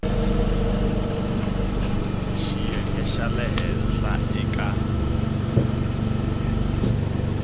xiyenge xa le henhla eka